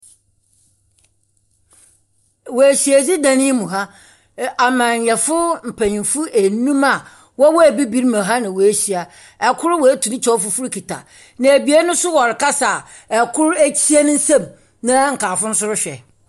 Wɔ ehyiadzi dan yi mu ha, amanyɛfo mpanyimfo enum a wɔwɔ Ebibirmu ha na woehyia, kor oetu ne kyɛw fufuw kitsa ne nsamu, na ebien so wɔrekasa, kor ekyia ne nsamu na nkaafo no so rohwɛ.